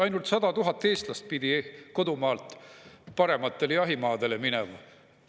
Ainult 100 000 eestlast pidi kodumaalt parematele jahimaadele minema.